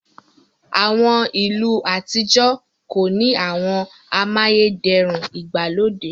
àwọn ilu atijọ ko ni àwọn amayederun igbalode..